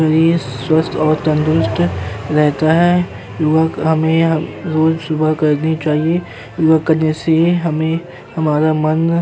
शरीर स्वस्थ और तंदुरुस्त रहता है। युवक हमे यह रोज सुबह करनी चाहिए। जैसे हमे हमारा मन --